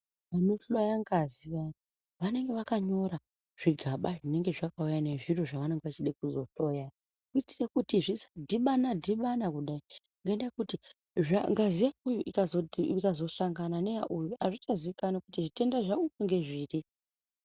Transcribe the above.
Vanohloya ngazi vaya ,vanonga vakanyora zvigaba zvinenge zvakauya nezviro zvavanonga vachide kuzohloya zviya ,kuitira kuti zvisadhibana dhibana kudai ngendaa yekuti ngazi yauyu ikazohlangana neyauyu azvichaziikanwi kuti zvitenda zvauyu ngezviri.